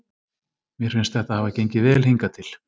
Mér finnst þetta hafa gengið vel hingað til.